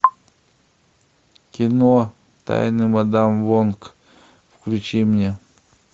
кино тайны мадам вонг включи мне